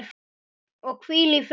Og hvíl í friði.